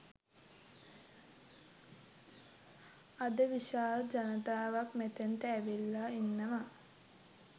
අද විශාල ජනතාවක් මෙතැනට ඇවිල්ලා ඉන්නවා.